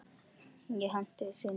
Ég hendist inn til mín.